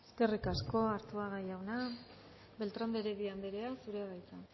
eskerrik asko arzuaga jauna beltrán de heredia andrea zurea da hitza